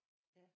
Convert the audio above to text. Ja